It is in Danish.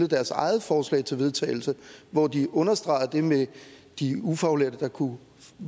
eget forslag til vedtagelse hvor de understregede det med de ufaglærte der kunne